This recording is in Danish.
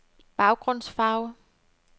baggrundsfarve